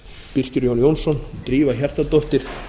birkir j jónsson drífa hjartardóttir